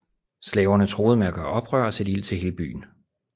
Slaverne truede med at gøre oprør og sætte ild til hele byen